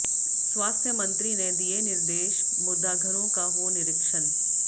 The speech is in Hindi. स्वास्थ्य मंत्री ने दिए निर्देश मुर्दाघरों का हो निरीक्षण